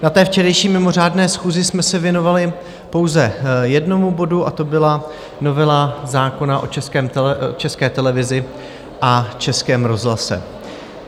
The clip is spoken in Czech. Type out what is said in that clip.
Na té včerejší mimořádné schůzi jsme se věnovali pouze jednomu bodu, a to byla novela zákona o České televizi a Českém rozhlase.